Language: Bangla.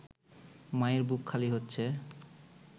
মায়ের বুক খালি হচ্ছে